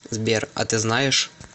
сбер а ты знаешь